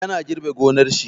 Ya na girbe gonar shi.